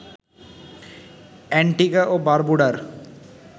Antigua ও বারবুডার